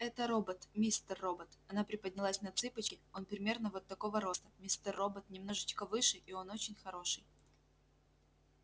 это робот мистер робот она приподнялась на цыпочки он примерно вот такого роста мистер робот немножечко выше и он очень хороший